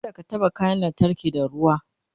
kada ka taɓa kayan lantarki da ruwa